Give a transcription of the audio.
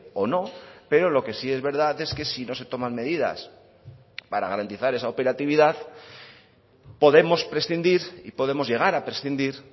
o no pero lo que sí es verdad es que si no se toman medidas para garantizar esa operatividad podemos prescindir y podemos llegar a prescindir